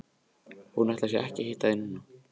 Hún ætlar sér ekki að hitta þig núna.